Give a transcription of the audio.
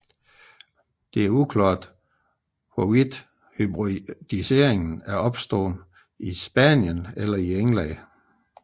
Det er uklart hvorvidt hybridiseringen er opstået i Spanien eller i England